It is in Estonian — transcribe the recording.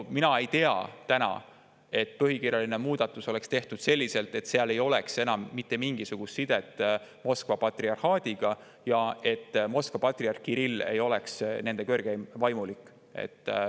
Mina ei tea, et põhikirjaline muudatus oleks tehtud selliselt, et seal ei oleks enam mitte mingisugust sidet Moskva patriarhaadiga ja Moskva patriarh Kirill ei oleks nende kõrgeim vaimulik.